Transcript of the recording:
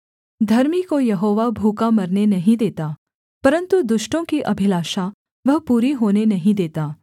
धर्मी को यहोवा भूखा मरने नहीं देता परन्तु दुष्टों की अभिलाषा वह पूरी होने नहीं देता